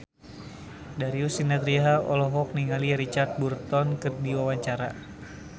Darius Sinathrya olohok ningali Richard Burton keur diwawancara